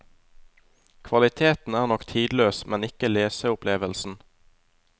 Kvaliteten er nok tidløs, men ikke leseopplevelsen.